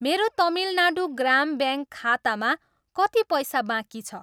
मेरो तमिलनाडू ग्राम ब्याङ्क खातामा कति पैसा बाँकी छ?